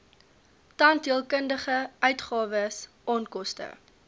tandheelkundige uitgawes onkoste